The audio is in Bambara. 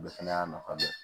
O fɛnɛ y'a nafa dɔ ye